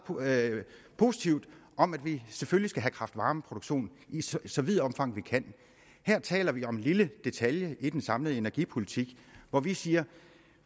positivt om at vi selvfølgelig skal have kraft varme produktion i så så vidt omfang vi kan her taler vi om en lille detalje i den samlede energipolitik hvor vi siger at